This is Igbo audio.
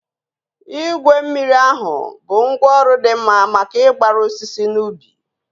Igwe mmiri ahụ bụ ngwá ọrụ dị mma maka ịgbara osisi n'ubi